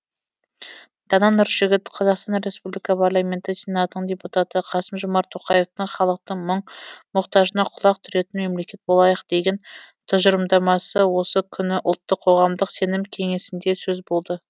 дана нұржігіт қазақстан республика парламенті сенатының депутаты қасым жомарт тоқаевтың халықтың мұң мұқтажына құлақ түретін мемлекет болайық деген тұжырымдамасы осы күні ұлттық қоғамдық сенім кеңесінде сөз болды